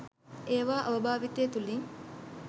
ඒවා අවභාවිතය තුළින්